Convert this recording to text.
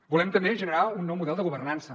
volem també generar un nou model de governança